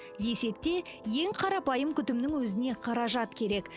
десек те ең қарапайым күтімнің өзіне қаражат керек